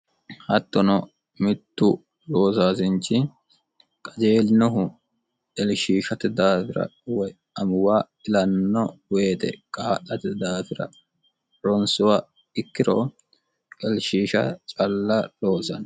hattono mittu oosaasinchi qajeelinohu ilishishate daafira woy amuuwa ilanno woyite kaa'late daafira ronsuwa ikkiro ilshisiha calla loosanno